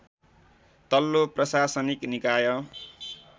तल्लो प्रशासनिक निकाय